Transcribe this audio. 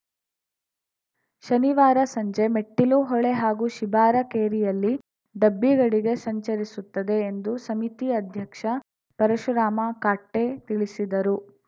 ಶನಿವಾರ ಸಂಜೆ ಮೆಟ್ಟಿಲು ಹೊಳೆ ಹಾಗೂ ಶಿಬಾರ ಕೇರಿಯಲ್ಲಿ ಡಬ್ಬಿಗಡಿಗೆ ಸಂಚರಿಸುತ್ತದೆ ಎಂದು ಸಮಿತಿ ಅಧ್ಯಕ್ಷ ಪರಶುರಾಮ ಕಾಟ್ಟೆ ತಿಳಿಸಿದರು